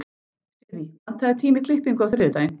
Sirrí, pantaðu tíma í klippingu á þriðjudaginn.